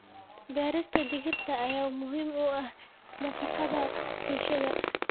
Beerista digirta ayaa muhiim u ah nafaqada bulshada.